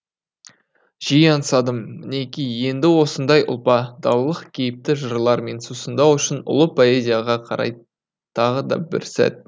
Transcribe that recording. жиі аңсадым мінеки енді осындай ұлпа далалық кейіпті жырлармен сусындау үшін ұлы поэзияға қарай тағы да бір сәт